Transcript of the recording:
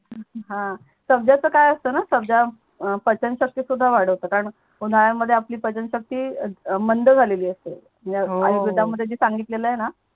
हा सबजाच काय असत णा सबजा पचन शक्ति सुद्धा वाडवतो कारण उनाड्या मध्ये आपली पचनशक्ति मंद झालेली असते म्हणजे हो हो आणि दुधा मध्ये जे सांगितल आहेणा